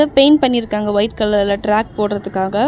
Paint பண்ணி இருக்காங்க white கலர்ல டிராக் போடறதுக்காக.